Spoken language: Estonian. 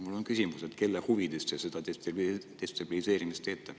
Mul on küsimus, kelle huvides te seda destabiliseerimist teete.